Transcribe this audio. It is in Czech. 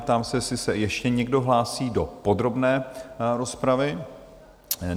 Ptám se, jestli se ještě někdo hlásí do podrobné rozpravy?